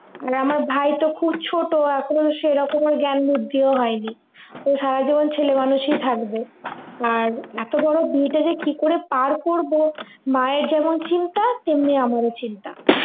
আর আমার ভাই তো খুব ছোট এখন সেইরকম ওর জ্ঞান বুদ্ধিও হয় নি ও সারা জীবন ছেলে মানুষই থাকবে আর এত বড়ো বিয়েটা যে কি করে পার করবো মায়ের যেমন চিন্তা তেমনি আমরও চিন্তা